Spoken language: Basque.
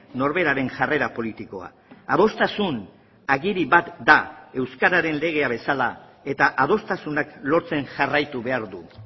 norberaren jarrera politikoa adostasun agiri bat da euskararen legea bezala eta adostasunak lortzen jarraitu behar du